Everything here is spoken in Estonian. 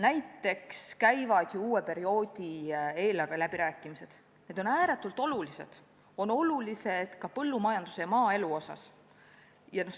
Näiteks käivad ju uue perioodi eelarveläbirääkimised, need on ääretult olulised, need on olulised ka põllumajandusele ja maaelule.